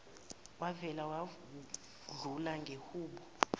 wavele wadlula ngehubo